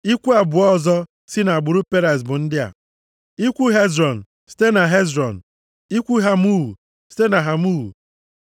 Ikwu abụọ ọzọ si nʼagbụrụ Perez bụ ndị a: Ikwu Hezrọn, site na Hezrọn, Ikwu Hamul, site na Hamul.